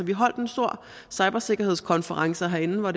vi holdt en stor cybersikkerhedskonference herinde hvor